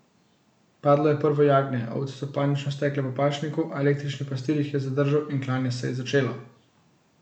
Padlo je prvo jagnje, ovce so panično stekle po pašniku, a električni pastir jih je zadržal in klanje se je začelo.